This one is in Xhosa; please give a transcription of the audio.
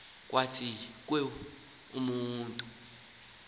nabathwa kuba wona